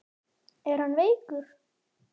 Er hann veikur?